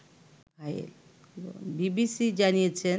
BBC জানিয়েছে